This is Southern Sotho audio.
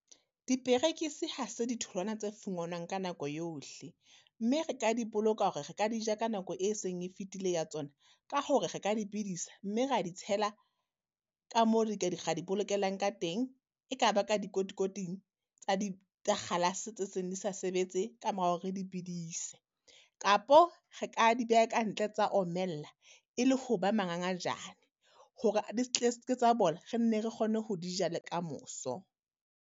Diperekisi ha se ditholwana tse fungwanwang ka nako yohle, mme re ka di boloka hore re ka di ja ka nako e seng e fetile ya tsona, ka hore re ka di bidisa, mme re di tshela ka moo re ka di bolokelang ka teng. E ka ba ka dikotikoting tsa di, tsa kgalase tse seng di sa sebetse ka mora hore re di bedise. Kapo re ka di beha ka ntle tsa omella, e le ho ba mangangajane hore di tsa bola, re nne re kgone ho di ja le ka moso.